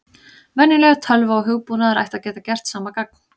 Venjuleg tölva og hugbúnaður ætti að geta gert sama gagn.